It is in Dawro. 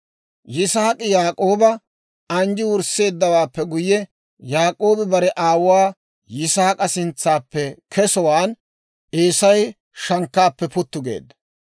Yisaak'i Yaak'ooba anjji wursseeddawaappe guyye, Yaak'oobi bare aawuwaa Yisaak'a sintsaappe kesowaan Eesay shankkaappe puttu geedda.